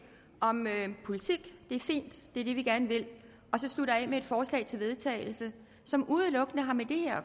om politik det er fint det er det vi gerne vil og så slutter af med et forslag til vedtagelse som udelukkende har med det her